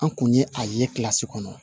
An kun ye a ye kilasi kɔnɔ